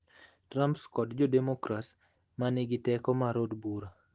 Trump kod jo demokrats ma nigi teko mar od bura